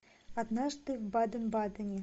однажды в баден бадене